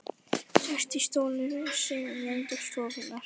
Sest í stólinn sinn í enda stofunnar.